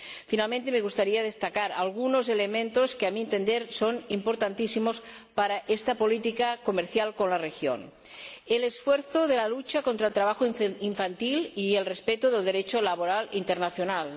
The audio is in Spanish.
Finalmente, me gustaría destacar algunos elementos que, a mi entender, son importantísimos para esta política comercial con la región el esfuerzo de la lucha contra el trabajo infantil y el respeto del Derecho laboral internacional